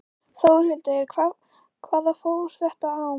Þórhildur: Hvað fór þetta á?